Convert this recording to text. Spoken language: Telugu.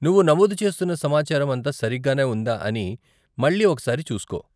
నువ్వు నమోదు చేస్తున్న సమాచారం అంతా సరిగ్గానే ఉందా అని మళ్ళీ ఒక సారి చూసుకో.